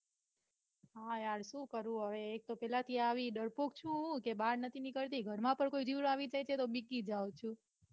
હા યાર સુ કરું હવે એક તો પેલેથી આવી ડરપોક છું કે બાર નથી નીકળતી ઘરમાં પણ કોઈ જીવડું આવી જાય છે તો બિકી જાઉં છું.